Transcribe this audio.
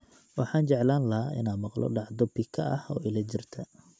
Waxaan jeclaan lahaa inaan maqlo dhacdo pika ah oo ila jirta